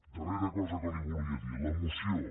darrera cosa que li volia dir la moció